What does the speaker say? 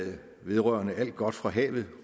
vedrørende alt godt fra havet